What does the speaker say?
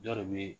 Dɔ de bɛ